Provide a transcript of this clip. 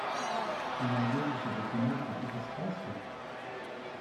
ты найдешь у себя киношку типа сказки